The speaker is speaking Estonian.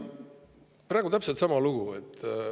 " Praegu on täpselt sama lugu.